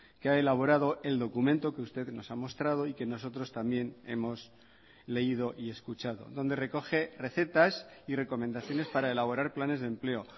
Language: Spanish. que ha elaborado el documento que usted nos ha mostrado y que nosotros también hemos leído y escuchado donde recoge recetas y recomendaciones para elaborar planes de empleo